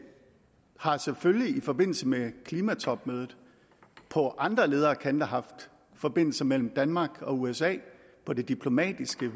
har selvfølgelig i forbindelse med klimatopmødet på andre leder og kanter haft forbindelse mellem danmark og usa på det diplomatiske